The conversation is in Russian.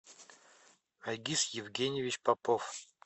айгиз евгеньевич попов